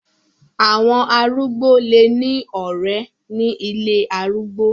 Àwọn arúgbó lè ní ọ̀ré ní ilé arúgbó.